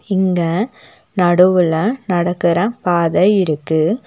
இங்க நடுவுல நடக்குற பாத இருக்கு.